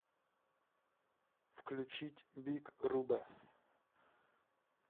включить биг рубэ